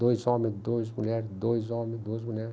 Dois homens, dois mulheres, dois homens, duas mulheres.